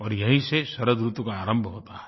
और यहीं से शरदऋतु का आरंभ होता है